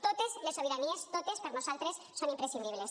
totes les sobiranies totes per nosaltres són imprescindibles